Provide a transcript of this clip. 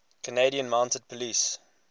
canadian mounted police